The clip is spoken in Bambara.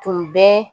Tun bɛ